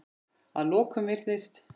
Að lokum virðist